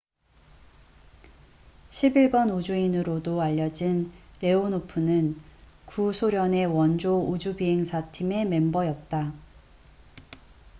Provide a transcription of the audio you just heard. """11번 우주인""으로도 알려진 레오노프는 구소련의 원조 우주비행사 팀의 멤버였다.